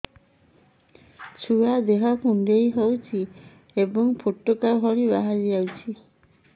ଛୁଆ ଦେହ କୁଣ୍ଡେଇ ହଉଛି ଏବଂ ଫୁଟୁକା ଭଳି ବାହାରିଯାଉଛି